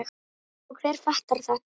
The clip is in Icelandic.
Og hver fattar þetta?